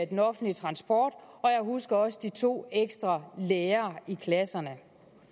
den offentlige transport og jeg husker også de to ekstra lærere i klasserne